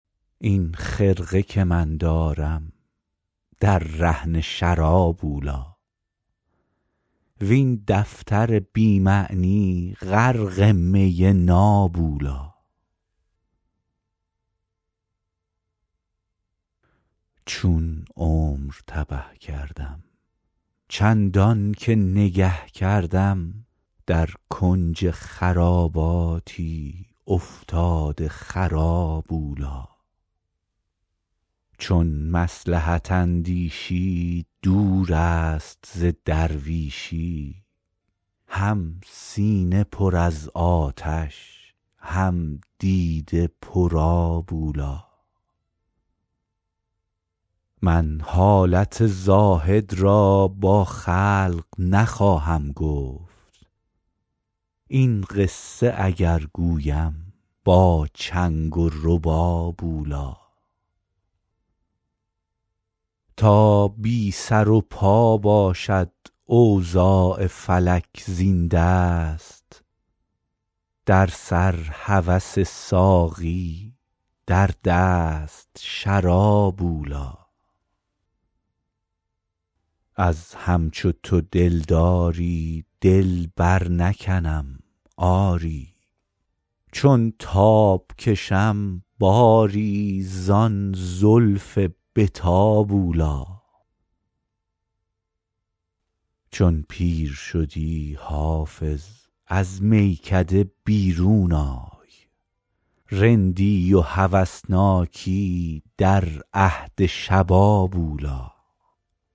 این خرقه که من دارم در رهن شراب اولی وین دفتر بی معنی غرق می ناب اولی چون عمر تبه کردم چندان که نگه کردم در کنج خراباتی افتاده خراب اولی چون مصلحت اندیشی دور است ز درویشی هم سینه پر از آتش هم دیده پرآب اولی من حالت زاهد را با خلق نخواهم گفت این قصه اگر گویم با چنگ و رباب اولی تا بی سر و پا باشد اوضاع فلک زین دست در سر هوس ساقی در دست شراب اولی از همچو تو دلداری دل برنکنم آری چون تاب کشم باری زان زلف به تاب اولی چون پیر شدی حافظ از میکده بیرون آی رندی و هوسناکی در عهد شباب اولی